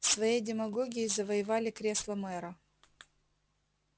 своей демагогией завоевали кресло мэра